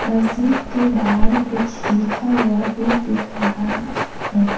मस्जिद के बाहर कुछ लिखा हुआ भी दिख रहा है।